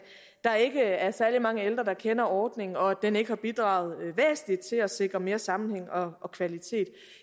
der ikke er særlig mange ældre der kender ordningen og at den ikke har bidraget væsentligt til at sikre mere sammenhæng og kvalitet